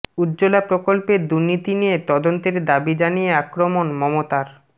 উজ্জ্বলা প্রকল্পের দুর্নীতি নিয়ে তদন্তের দাবি জানিয়ে আক্রমণ মমতার